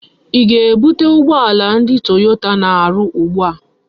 I ga-ebute ugboala ndi Toyota na-aru ugbu a!